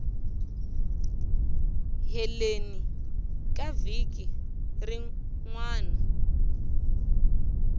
heleni ka vhiki rin wana